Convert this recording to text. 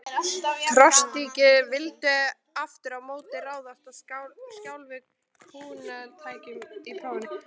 Trotskíistar vildu aftur á móti ráðast að sjálfu kúgunartækinu: prófunum.